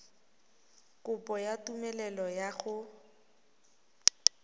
kopo ya tumelelo ya go